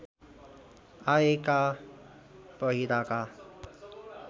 आएका पहिराका